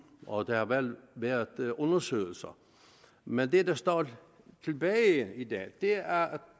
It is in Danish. og der har været været undersøgelser men det der står tilbage i dag er at